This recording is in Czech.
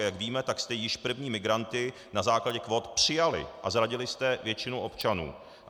A jak víme, tak jste již první migranty na základě kvót přijali a zradili jste většinu občanů.